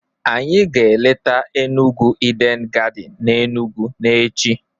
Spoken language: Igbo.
anyi ga eleta Enugu Eden garden n'Enugwu n'echi.